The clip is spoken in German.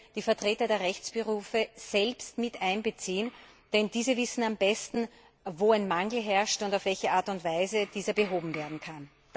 die Vertreter der Rechtsberufe selbst mit einzubeziehen, denn diese wissen am besten, wo ein Mangel herrscht und auf welche Art und Weise dieser behoben werden kann.